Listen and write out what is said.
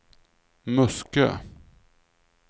Muskö